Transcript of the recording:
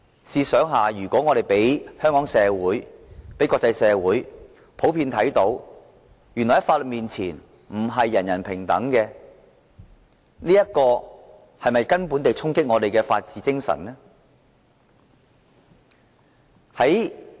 試想，如果我們讓香港社會和國際社會看到，在法律面前並非人人平等，這不是根本地衝擊我們的法治精神嗎？